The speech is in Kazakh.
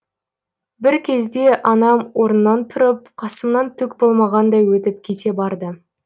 бір кезде анам орнынан тұрып қасымнан түк болмағандай өтіп кете барды